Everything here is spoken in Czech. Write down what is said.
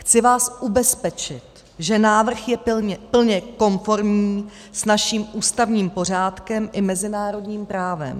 Chci vás ubezpečit, že návrh je plně konformní s naším ústavním pořádkem i mezinárodním právem.